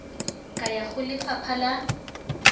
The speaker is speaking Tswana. ka ya go lefapha la